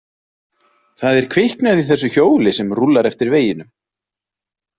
Það er kviknað í þessu hjóli sem rúllar eftir veginum.